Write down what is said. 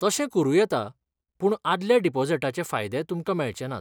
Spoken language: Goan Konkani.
तशें करूं येता, पूण आदल्या डिपॉझिटाचे फायदे तुमकां मेळचे नात.